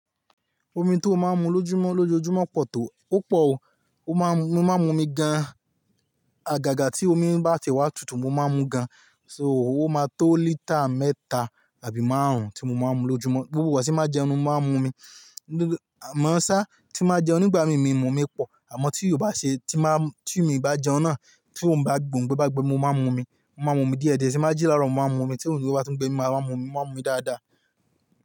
Omi tó máa ń mu lójúmọ́ lójoojúmọ́ pọ̀ tó, ó pọ̀ o, mo máa ń mu omi gan-an. Àgàgà tí omi bá ti wá tutù mo máa ń mu gan-an. So, ó máa tó lítà mẹ́ta àbí márùn-ún tí mo máa ń mu lójúmọ́. Gbogbó igbá tí má jẹun mo máa ń mu omi. Má sá tí má jẹun nígbà mi mi mo omi pọ̀. Àmọ́ tí ò bá ṣe tí má, tí mi bá jẹun náà tí ò ń bá gbé, mo bá gbé mo máa ń mu omi, mo máa ń mu omi díẹ̀díẹ̀ tí má jí láro mo máa ń mu omi tí ongbe bá ti ń gbé mi máa ń mu omi, mo máa ń mu omi dáadáa.